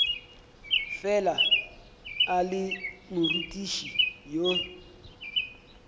fela a le morutiši yo